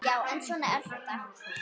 Já, en svona er þetta.